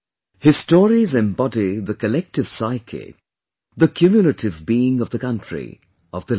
His stories embody the collective psyche', the cumulative being of the country, of the land